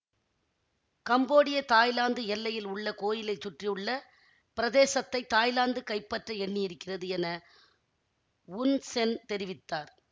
கம்போடியதாய்லாந்து எல்லையில் உள்ள கோயிலை சுற்றியுள்ள பிரதேசத்தை தாய்லாந்து கைப்பற்ற எண்ணியிருக்கிறது என உன் சென் தெரிவித்தார்